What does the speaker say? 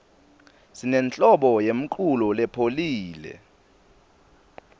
sinenhlobo yemculo lepholile